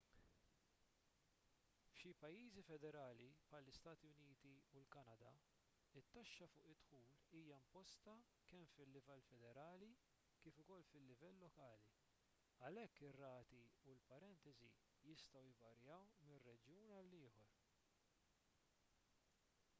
f'xi pajjiżi federali bħall-istati uniti u l-kanada it-taxxa fuq id-dħul hija imposta kemm fil-livell federali kif ukoll fil-livell lokali għalhekk ir-rati u l-parentesi jistgħu jvarjaw minn reġjun għal ieħor